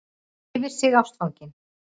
Yfir sig ástfangin.